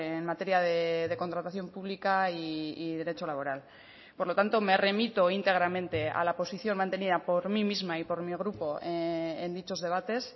en materia de contratación pública y derecho laboral por lo tanto me remito íntegramente a la posición mantenida por mí misma y por mi grupo en dichos debates